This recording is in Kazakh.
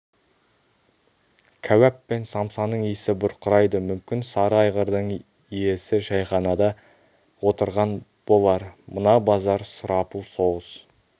кәуап пен самсаның исі бұрқырайды мүмкін сары айғырдың иесі шәйханада отырған болар мына базар сұрапыл соғыс